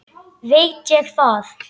Veit ég það.